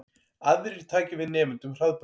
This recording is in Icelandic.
Aðrir taki við nemendum Hraðbrautar